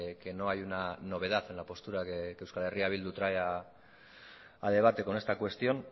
que no hay una novedad en la postura que euskal herria bildu trae a debate con esta cuestión